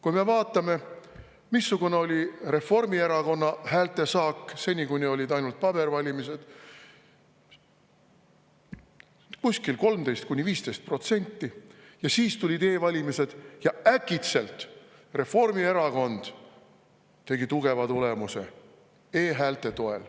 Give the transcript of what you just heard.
Kui me vaatame, missugune oli Reformierakonna häältesaak seni, kuni olid ainult pabervalimised – kuskil 13–15% –, ja siis tulid e-valimised ja äkitselt Reformierakond tegi tugeva tulemuse e-häälte toel.